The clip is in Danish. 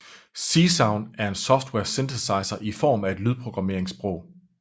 Csound er en software synthesizer i form af et lydprogrammeringssprog